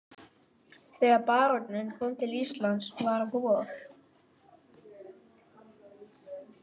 Þegar baróninn kom til Íslands var vor.